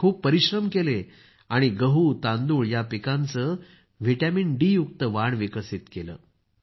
त्यांनी खूप परिश्रम केले आणि गहू तांदूळ या पिकांचे विटामीनडी युक्त वाण विकसित केलं